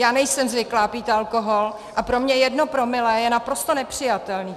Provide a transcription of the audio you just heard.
Já nejsem zvyklá pít alkohol a pro mě jedno promile je naprosto nepřijatelné.